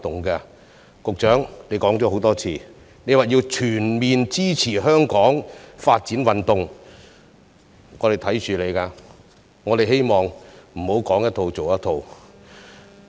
局長，你多次表示要全面支持香港發展運動，我們會緊盯着你，希望你不要"說一套、做一套"。